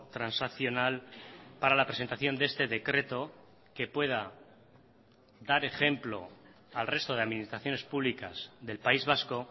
transaccional para la presentación de este decreto que pueda dar ejemplo al resto de administraciones públicas del país vasco